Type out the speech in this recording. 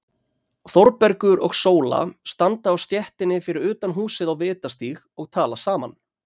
Þórbergur og Sóla standa á stéttinni fyrir utan húsið á Vitastíg og tala saman.